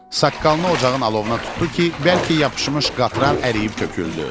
Saqqalını ocağın alovuna tutdu ki, bəlkə yapışmış qatran əriyib töküldü.